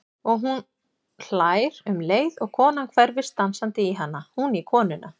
Og hún hlær um leið og konan hverfist dansandi í hana, hún í konuna.